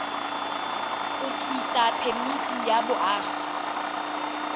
go tlisa phemiti ya boagi